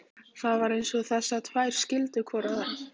Það var eins og þessar tvær skildu hvor aðra.